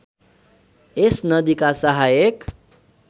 यस नदीका सहायक